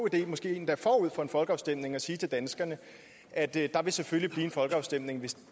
idé måske endda forud for en folkeafstemning at sige til danskerne at der selvfølgelig en folkeafstemning